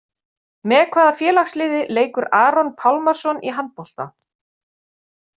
Með hvaða félagsliði leikur Aron Pálmarsson í handbolta?